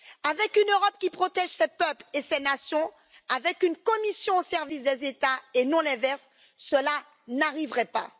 Avec une Europe qui protège ses peuples et ses nations, avec une Commission au service des États et non l'inverse, cela n'arriverait pas.